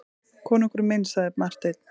Konungur minn, sagði Marteinn.